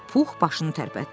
Pux başını tərpətdi.